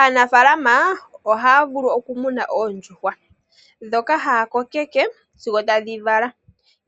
Aanafaalama ohaya vulu okumuna oondjuhwa ndhoka ha ya kokeke sigo tadhi vala.